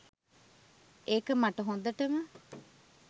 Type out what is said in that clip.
ඒක මට හොඳටම.